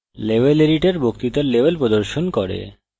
level editor বক্তৃতার level প্রদর্শিত করে